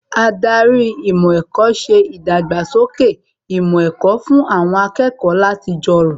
Ádárì ìmọ̀ ẹ̀kọ́ ṣe ìdàgbàsókè ìmọ̀ ẹ̀kọ́ fún àwọn akẹ́kọ̀ọ́ láti jọrọ̀